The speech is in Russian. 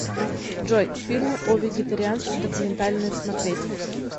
джой фильмы о вегитарианстве документальные смотреть